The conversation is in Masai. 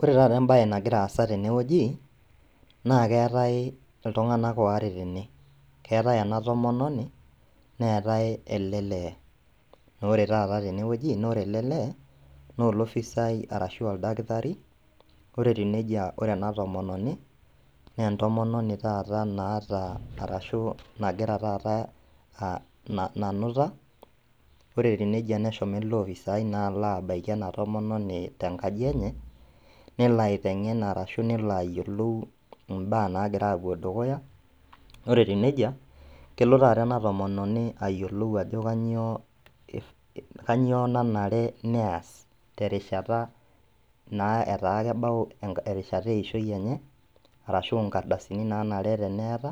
Ore taata embaye nagiraasa tenewueji naakeetai iltung'anak oare tene. Keatai ena tomononi neetai ele lee. Naore tata tenewueji naore ele lee noolofisai arashu oldakitari, ore etiu neija ore ena tomononi neentomononi tata naata arashu nagira tata , ah nanuta. Ore etiu neija neshomo ele ofisai naa aloabaiki ena tomononi tenkaji enye nelo aiteng'en arashu nelo ayiolou imbaa naagira apuo dukuya, ore etiu neija kelo tata ena tomononi ayiolou ajo kanyoo [ih], kanyioo nanare neas terishata naa etaakebau erishata eishoi enye, arashu inkardasini naanare teneeta.